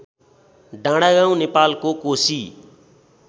डाँडागाउँ नेपालको कोशी